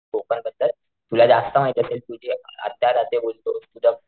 कोकण बद्दल तुला जास्त माहिती असेल तुझी आत्या राहते बोलतो तुझं,